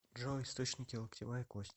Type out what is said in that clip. джой источники локтевая кость